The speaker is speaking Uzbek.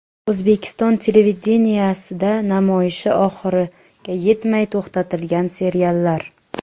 O‘zbekiston televideniyesida namoyishi oxiriga yetmay to‘xtatilgan seriallar.